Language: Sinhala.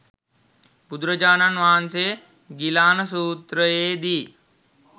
බුදුරජාණන් වහන්සේ ගිලාන සූත්‍රයේ දී